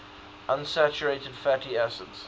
unsaturated fatty acids